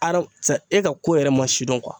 A karisa e ka ko yɛrɛ ma sidɔn